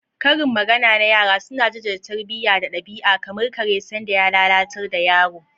Karin magana na yara suna jaddada tarbiyya da ɗabi'a, kamar "kare sanda ka lalatar da yaro."